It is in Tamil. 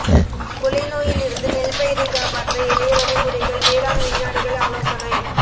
குலைநோயில் இருந்து நெல் பயிரை காப்பாற்ற எளிய வழி முறைகள் வேளாண் விஞ்ஞானிகள் ஆலோசனை